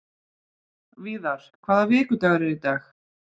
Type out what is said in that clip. Víðar, hvaða vikudagur er í dag?